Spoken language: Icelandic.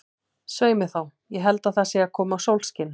Svei mér þá, ég held að það sé að koma sólskin.